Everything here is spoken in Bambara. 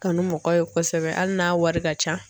Kanu mɔgɔ ye kosɛbɛ hali n'a wari ka ca.